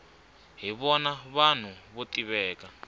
hi vona vanhu vo tiveka